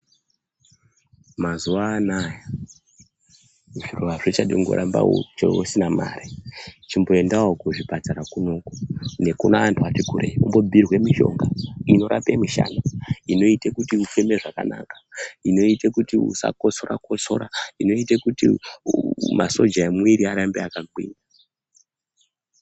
Mazuwa anaya zviro hazvichadi kungoramba usina mari . Chimboendawo kuzvipatara kunoku nekuantu ari kure umbobhiirwe mishonga inorape mishana, inoite kuti ufeme zvakanaka, inoite kuti usakosoro kosora , inoite kuti masoja emumwiri arambe akagwinya.